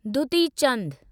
Dutee Chand